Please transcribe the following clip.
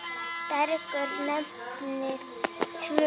Bergur nefnir tvö.